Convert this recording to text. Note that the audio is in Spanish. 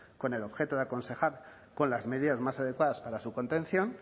con el objeto de aconsejar con las medidas más adecuadas para su contención